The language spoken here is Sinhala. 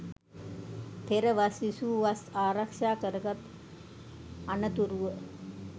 පෙර වස් විසූ, වස් ආරක්ෂා කරගත් අනතුරුව